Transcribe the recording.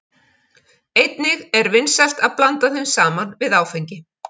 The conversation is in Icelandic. Einnig er vinsælt að blanda þeim saman við áfengi.